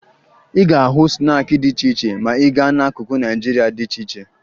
Ị ga-ahụ snaakị dị iche iche ma ị gaa n'akụkụ Naịjirịa dị iche iche